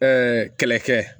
kɛlɛkɛ